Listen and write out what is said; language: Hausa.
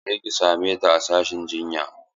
Je ki same ta a sashin jinya!